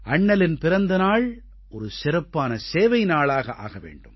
அண்ணலின் பிறந்த நாள் ஒரு சிறப்பான சேவை நாளாக ஆக வேண்டும்